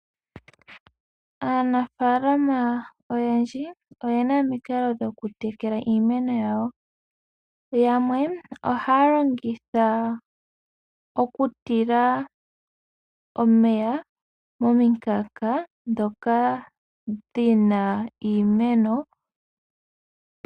Aanafalama oyendji oyena omikalo dhokutekela iimeno yawo, yamwe ohaya longitha okutila omeya momikanka dhoka dhina iimeno.